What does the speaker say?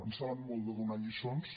en saben molt de donar lliçons